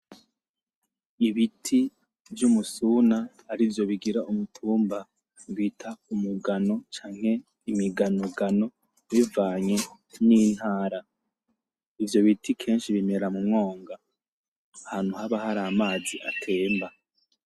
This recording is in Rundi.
Ibiti vy'umusuna arivyo bigira umutumba bita umugano canke imiganogano bivanye n'intara, ivyo biti kenshi bimera mu mwonga ahantu haba hari amazi atemba.